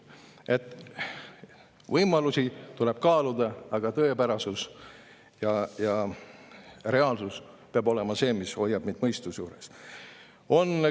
Võimalusi tuleb kaaluda, aga tõepärasus ja reaalsus peab olema see, mis hoiab meid mõistuse juures.